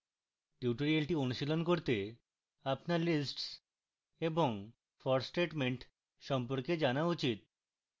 tutorial অনুশীলন করতে আপনার lists এবং for statement সম্পর্কে জানা উচিত